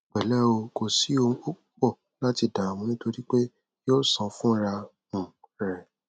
pẹlẹ o kò sí ohun púpọ láti dààmú nítorí pé yóò sàn fúnra um rẹ